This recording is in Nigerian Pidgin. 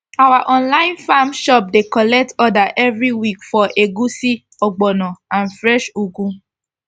our online farm shop dey collect order every week for egusi ogbono and fresh ugu